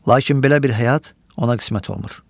Lakin belə bir həyat ona qismət olmur.